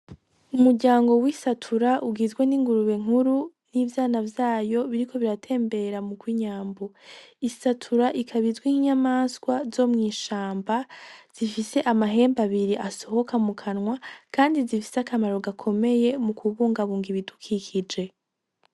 Umuryango w'isatura ugizwe n'ingurube nkuru n'ivyana vyayo biriko biratembera mu ko inyambu isatura ikabizwe inyamaswa zo mw'ishamba zifise amahembu abiri asohoka mu kanwa, kandi zifise akamaro gakomeye mu kubungabunga ibidukikije.